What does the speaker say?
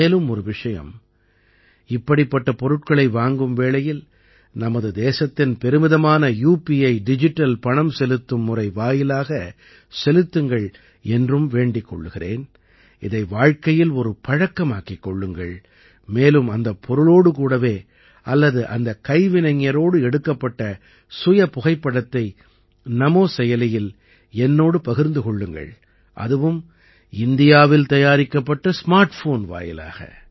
மேலும் ஒரு விஷயம் இப்படிப்பட்ட பொருட்களை வாங்கும் வேளையில் நமது தேசத்தின் பெருமிதமான யுபிஐ டிஜிட்டல் பணம் செலுத்தும் முறை வாயிலாகச் செலுத்துங்கள் என்றும் வேண்டிக் கொள்கிறேன் இதை வாழ்க்கையில் ஒரு பழக்கமாக்கிக் கொள்ளுங்கள் மேலும் அந்தப் பொருளோடு கூடவே அல்லது அந்தக் கைவினைஞரோடு எடுக்கப்பட்ட சுயபுகைப்படத்தை நமோ செயலியில் என்னோடு பகிர்ந்து கொள்ளுங்கள் அதுவும் இந்தியாவில் தயாரிக்கப்பட்ட ஸ்மார்ட் ஃபோன் வாயிலாக